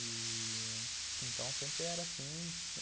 Ih... Então, sempre era assim.